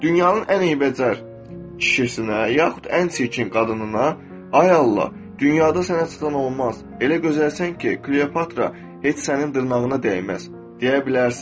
Dünyanın ən eybəcər kişisinə, yaxud ən çirkin qadınına, "Ay Allah, dünyada sənə çatan olmaz, elə gözəlsən ki, Kleopatra heç sənin dırnağına dəyməz" deyə bilərsən.